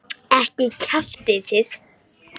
Ekki kjaftið þið.